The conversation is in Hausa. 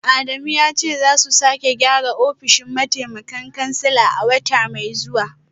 Adamu ya ce za su sake gyara ofishin mataimakan kansila a wata mai zuwa